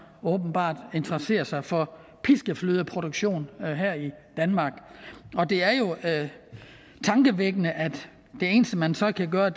åbenbart interesserer sig for piskeflødeproduktion her i danmark det er jo tankevækkende at det eneste man så kan gøre